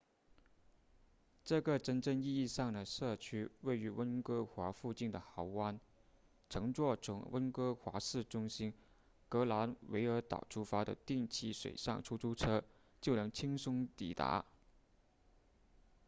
这个真正意义上的社区位于温哥华附近的豪湾乘坐从温哥华市中心格兰维尔岛出发的定期水上出租车就能轻松抵达